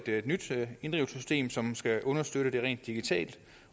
et nyt system som skal understøtte inddrivelsen rent digitalt